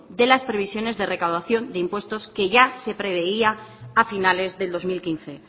de las previsiones de recaudación de impuestos que ya se preveía a finales del dos mil quince